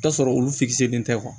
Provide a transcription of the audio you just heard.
T'a sɔrɔ olu fitini tɛ